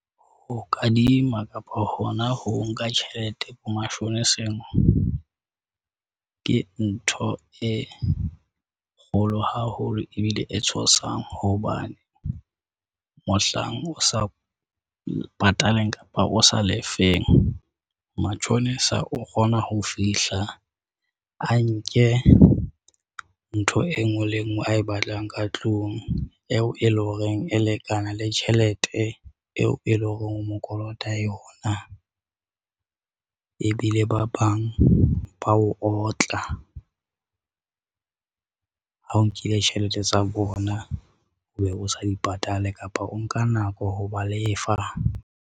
Ho kadima kapa hona ho nka tjhelete bo mashoneseng, ke ntho e kgolo haholo ebile e tshosang hobane mohlang o sa pataleng kapa o sa lefeng. Matjhonisa o kgona ho fihla a nke ntho e nngwe le e ngwe a e batlang ka tlung eo e leng horeng e lekana le tjhelete eo e leng hore o mo kolota yona. E bile ba bang ba o otla ha o nkile tjhelete tsa bona, obe o sa di patale, kapa o nka nako ho ba lefa.